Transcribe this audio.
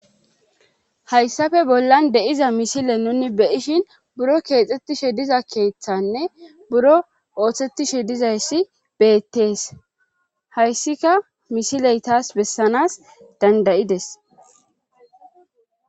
Hayssafe bollan de7iza misile nuni beishin buro keexxettishe diza keeththanne buro ooththettishe dizayssi beettees hayssika misiley taas bessanas dandayides.